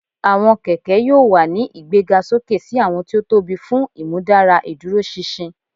Awọn kẹkẹ yoo wa ni igbegasoke si awọn ti o tobi fun imudara iduroṣinṣin